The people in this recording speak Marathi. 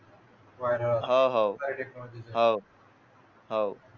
पण अह काय टेक्नॉलॉजी च